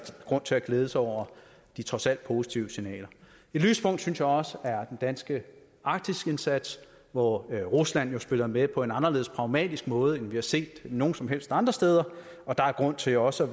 grund til at glæde sig over de trods alt positive signaler et lyspunkt synes jeg også er den danske arktisindsats hvor rusland jo spiller med på en anderledes pragmatisk måde end vi har set nogen som helst andre steder og der er grund til også